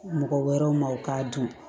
Mɔgɔ wɛrɛw ma u k'a dun